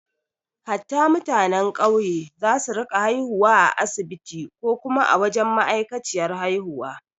Hatta mutanen ƙauye za su rinka haihuwa a asibiti ko kuma a wajen ma’aikaciyar haihuwa